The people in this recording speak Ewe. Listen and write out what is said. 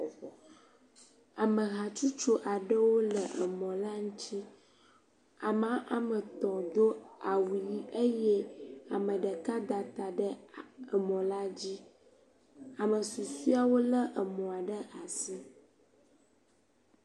Ame hatsotso aɖewo le mɔ la ŋuti, ame woame etɔ̃ do awu ʋi eye ame ɖeka da ta ɖe mɔ la dzi. Ame susuawo lé mɔ ɖe asi.